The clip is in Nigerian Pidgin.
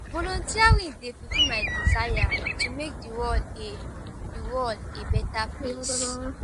volunteering dey fulfill my desire to make the world a the world a better place.